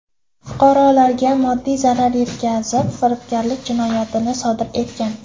Fuqarolarga moddiy zarar yetkazib, firibgarlik jinoyatini sodir etgan.